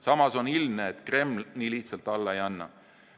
Samas on ilmne, et Kreml nii lihtsalt alla ei anna.